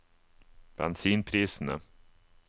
bensinprisene